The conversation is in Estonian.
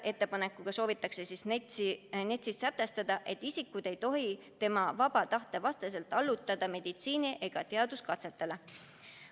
Ettepanek on NETS-is sätestada, et isikut ei tohi tema vaba tahte vastaselt allutada meditsiini- ega teaduskatsetele.